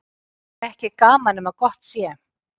Ekki er gaman nema gott sé.